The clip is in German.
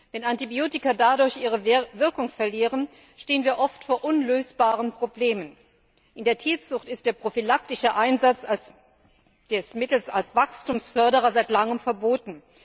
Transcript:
Wenn Antibiotika dadurch ihre Wirkung verlieren, stehen wir oft vor unlösbaren Problemen. In der Tierzucht ist der prophylaktische Einsatz mittels Wachstumsförderern seit langem verboten.